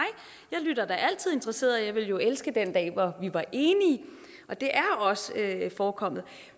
jeg lytter altid interesseret og jeg ville jo elske den dag hvor vi var enige og det er da også forekommet